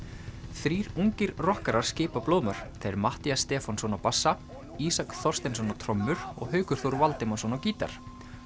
þrír ungir rokkarar skipa blóðmör þeir Matthías Stefánsson á bassa Ísak Þorsteinsson á trommur og Haukur Þór Valdimarsson á gítar